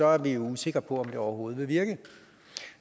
er vi usikre på om det overhovedet vil virke